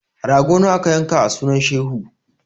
Rago nawa aka yanka a sunan shehu?